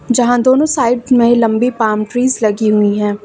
जहां दोनों साइड महे लंबी पाल्म ट्रीज लगी हुई हैं।